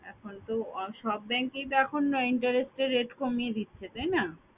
এখন তো সব bank এই তো এখন interest rate কমিয়ে দিচ্ছে তাই না